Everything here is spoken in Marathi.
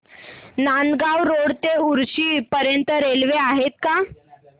नांदगाव रोड ते उक्षी पर्यंत रेल्वे आहे का